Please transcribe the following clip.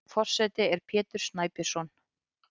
Forseti er Pétur Snæbjörnsson.